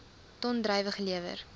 ton druiwe gelewer